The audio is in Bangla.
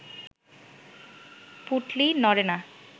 পুঁটলি নড়ে না